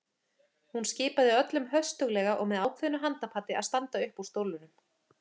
Hún skipaði öllum höstuglega og með ákveðnu handapati að standa upp úr stólunum.